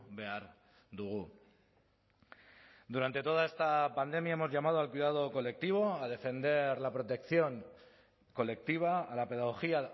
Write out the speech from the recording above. behar dugu durante toda esta pandemia hemos llamado al cuidado colectivo a defender la protección colectiva a la pedagogía